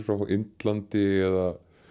frá Indlandi eða